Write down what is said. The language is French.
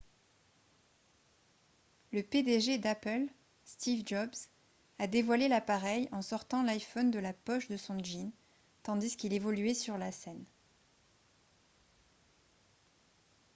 le pdg d'apple steve jobs a dévoilé l'appareil en sortant l'iphone de la poche de son jean tandis qu'il évoluait sur la scène